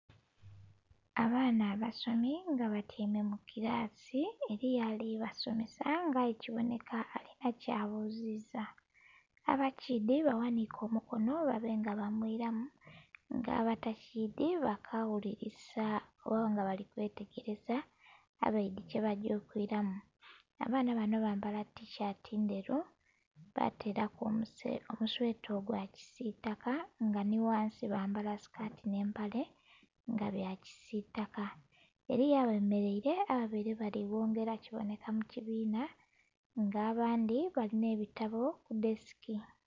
Abaana abasomi nga batyaimemu kilaasi, eliyo ali basomesa nga aye kibonheka alina kyabuziza. Abakiidhi baghaniike omukono babe nga bamwilamu, nga abatakiidhi bakawulilisa oba nga bali kwetegeleza abaidhi kyebagya okwilamu. Abaana bano bambala tishaati ndheru bateelaku omusweta ogwa kisiitaka, nga nhi ghansi bambala sikati nh'empale nga bya kisiitaka. Eliyo abemeleile ababaile bali ghongela kibonheka mu kibiina nga abandhi balina ebitabo ku desiki.